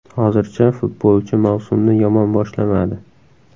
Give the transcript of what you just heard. Hozircha futbolchi mavsumni yomon boshlamadi.